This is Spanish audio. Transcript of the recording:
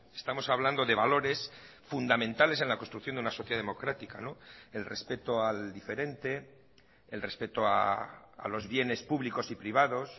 estamos hablando de valores fundamentales en la construcción de una sociedad democrática el respeto al diferente el respeto a los bienes públicos y privados